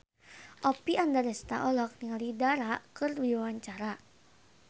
Oppie Andaresta olohok ningali Dara keur diwawancara